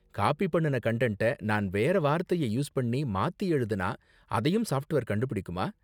Copy பண்ணுன கன்டன்ட்ட நான் வேற வார்த்தைய யூஸ் பண்ணி மாத்தி எழுதுனா அதையும் சாஃப்ட்வேர் கண்டுபிடிக்குமா?